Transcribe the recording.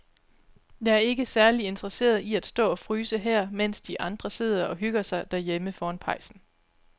Jeg er ikke særlig interesseret i at stå og fryse her, mens de andre sidder og hygger sig derhjemme foran pejsen.